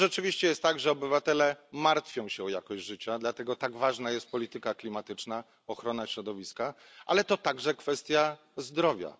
To rzeczywiście jest tak, że obywatele martwią się o jakość życia, dlatego tak ważna jest polityka klimatyczna, ochrona środowiska, ale także kwestia zdrowia.